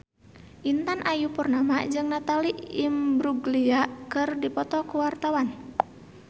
Intan Ayu Purnama jeung Natalie Imbruglia keur dipoto ku wartawan